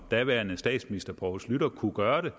daværende statsminister poul schlüter kunne gøre det